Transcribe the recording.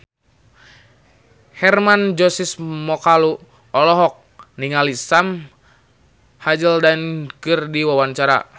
Hermann Josis Mokalu olohok ningali Sam Hazeldine keur diwawancara